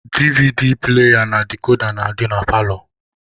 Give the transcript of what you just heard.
DVD pụlaya na dikoda na-adị na paalọ.